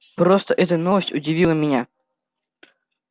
просто эта новость удивила меня